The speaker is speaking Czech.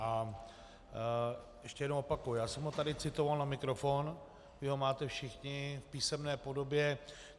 A ještě jednou opakuji, já jsem ho tady citoval na mikrofon, vy ho máte všichni v písemné podobě.